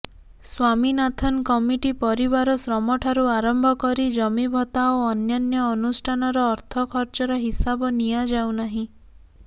Swaminathan committee ପରିବାର ଶ୍ରମଠାରୁ ଆରମ୍ଭ କରି ଜମିଭତ୍ତା ଓ ଅନ୍ୟାନ୍ୟ ଅନୁଷ୍ଠାନର ଅର୍ଥ ଖର୍ଚ୍ଚର ହିସାବ ନିଆଯାଉନାହିଁ